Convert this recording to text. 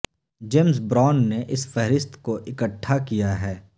James Brown نے اس فہرست کو اکٹھا کیا ہے